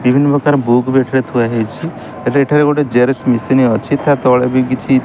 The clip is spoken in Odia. ବିଭିନ୍ନ ପ୍ରକାର ବୁକ୍ ବି ଏଠାରେ ଥୁଆ ହେଇଚି । ଏଟା ଏଠାରେ ଗୋଟେ ଜେରକ୍ସ ମିସନ ଅଛି। ତା ତଳେ ବି କିଛି --